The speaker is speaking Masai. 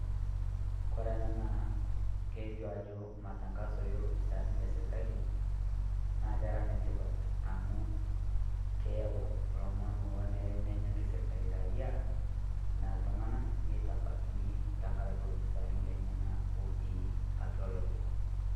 kore ena naa kelio ajo matangaso ee lopisaani lesirkali naa kera netipat amu keyau lomon oonere nenyaki sirkali raia tenaa ltung`ana netabakini tenkaraki lopisaani lenyanak ootii atua lorere.